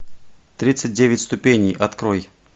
тридцать девять ступеней открой